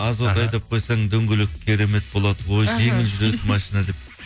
азот айдап қойсаң дөңгелек керемет болады ой жеңіл жүреді машина деп